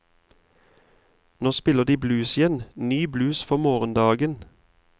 Nå spiller de blues igjen, ny blues for morgendagen.